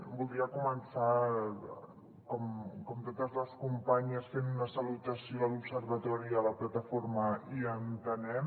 voldria començar com totes les companyes fent una salutació a l’observatori i a la plataforma i a entenem